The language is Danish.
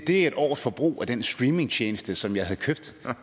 et års forbrug af den streamingtjeneste som jeg havde købt